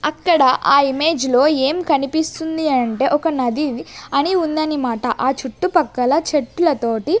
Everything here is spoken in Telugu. అక్కడ ఆ ఇమేజ్ లో ఏం కనిపిస్తుంది అంటే ఒక నది ఇది అని ఉందని మాట ఆ చుట్టుపక్కల చెట్లతోటి